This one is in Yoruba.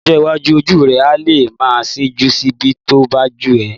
Lọ́jọ́ iwájú, ojú rẹ á lè máa yíjú síbi tó bá wù ẹ́